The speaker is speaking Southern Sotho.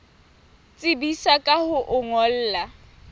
tsebisa ka ho o ngolla